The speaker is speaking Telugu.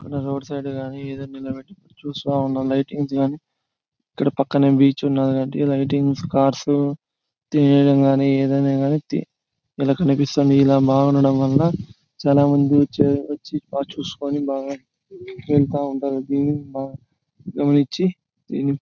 ఇక్కడ రోడ్ సైడ్ కానీ ఏదో చూస్తా ఉండటం. లైటింగ్స్ గాని ఇక్కడ పక్కనే బీచ్ ఉన్నదీ లైటింగ్స్ కర్సు ఈదిన గని ఇలా కనిపిస్తుంది. ఇలా బాగుండటం వల్ల చాలా మంది వచ్చి కార్ చూసుకుని బాగా వెళ్తా ఉంటారు. దీని ]